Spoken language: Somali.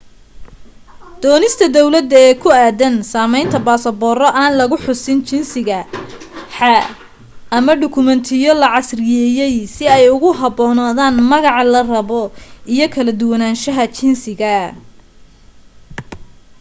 doonista dawladda ee ku aadan samaynta basabooro aan lagu xusin jingisa x ama dhokumetiyo la casriyeeyay si ay ugu haboonaadaan magaca la rabo iyo kala duwanaanshaha jinsiga